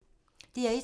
DR1